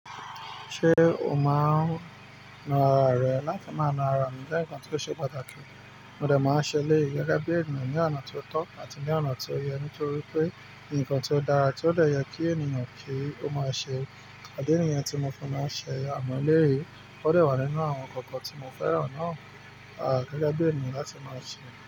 Ṣé o máa ń na ara rẹ láti máa na ara mi jẹ́ nǹkan tó ṣe pàtàkì. Ó dà máa ń ṣẹlẹ̀ gẹ́gẹ́ bí ènìyàn ní ọ̀nà tó tọ́ àti ní ọ̀nà tó yẹ nítorí pé nǹkan tó dára tí ó dọ̀yẹ kí ènìyàn kí ó máa ṣẹ. E dẹ nìyẹn tí mo fún un máa ṣẹ àmọ́ eléèyí kò dẹ́wà nínú àwọn nkankan tí mo fẹ́ràn náà. À gẹ́gẹ́ bí ènìyàn láti máa ṣẹ.